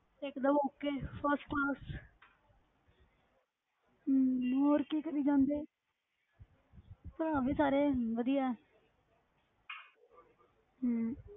ਇੱਕ ਦਮ okay first class ਹਮ ਹੋਰ ਕੀ ਕਰੀ ਜਾਂਦੇ ਭਰਾ ਵੀ ਸਾਰੇ ਵਧੀਆ ਹੈ ਹਮ